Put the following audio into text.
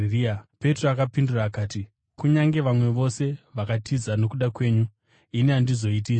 Petro akapindura akati, “Kunyange vamwe vose vakatiza nokuda kwenyu, ini handizoiti izvozvo.”